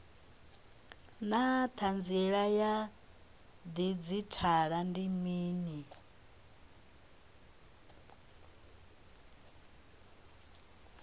naa hanziela ya didzhithala ndi mini